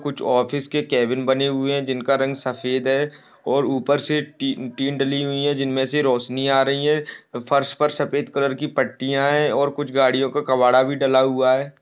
कुछ ऑफिस के केबिन बने हुए हैं जिनका रंग सफेद है और ऊपर से टी टीन डली हुई है जिनमें से रोशनी आ रही है फर्श पर सफेद कलर की पट्टीयां हैं और कुछ गाड़ियों का कबाड़ा भी डला हुआ है।